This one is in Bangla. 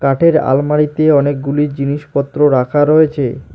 কাঠের আলমারিতে অনেকগুলি জিনিসপত্র রাখা রয়েছে।